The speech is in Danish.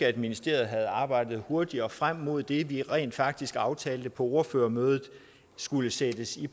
at ministeriet havde arbejdet hurtigere frem mod det vi rent faktisk aftalte på ordførermødet skulle sættes i